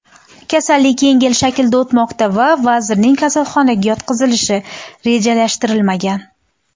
Kasallik yengil shaklda o‘tmoqda va vazirning kasalxonaga yotqizilishi rejalashtirilmagan.